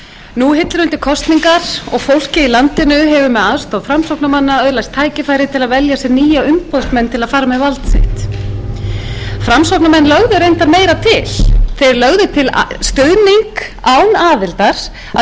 nú hillir undir kosningar og fólkið í landinu hefur með aðstoð framsóknarmanna öðlast tækifæri til að velja sér nýja umboðsmenn til að fara með vald sitt framsóknarmenn lögðu reyndar meira til þeir lögðu til stuðning án aðildar við